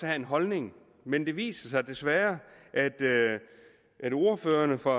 have en holdning men det viser sig desværre at ordførerne for